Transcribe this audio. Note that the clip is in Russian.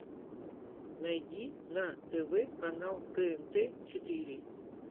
найди на тв канал тнт четыре